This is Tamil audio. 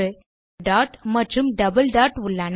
இங்கே ஒரு டாட் மற்றும் டபிள் டாட் உள்ளன